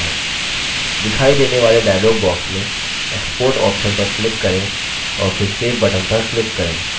दिखाई देने वाले dialog box में export option पर click करें और फिर save button पर click करें